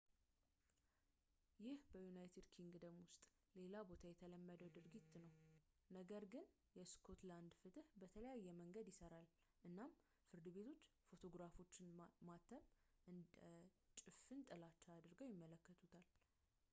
ይህ በuk ውስጥ ሌላ ቦታ የተለመደ ድርጊት ነው ነገር ግን የስኮትላንድ ፍትህ በተለየ መንገድ ይሰራል እናም ፍርድ ቤቶች ፎቶግራፎችን ማተም እንደ ጭፍን ጥላቻ አድርገው ይመለከቱታል